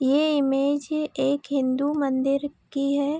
ये इमेज ही एक हिन्दू मंदिर की है।